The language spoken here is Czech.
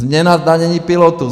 Změna zdanění pilotů.